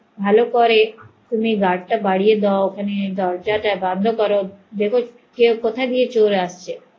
ভালো করে তুমি guard তা বাড়িয়ে দাও ওখানে দরজা বন্ধ করো দেখো কথা থেকে চোর আসছে